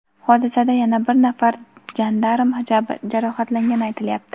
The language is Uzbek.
Hodisada yana bir nafar jandarm jarohatlangani aytilyapti.